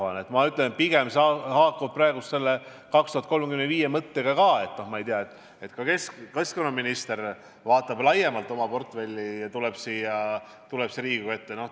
See haakub praegu selle strateegiaga kuni 2035. aastani ka, ma küll ei tea, kas keskkonnaminister vaatab laiemalt oma portfelli ja tuleb siia Riigikogu ette.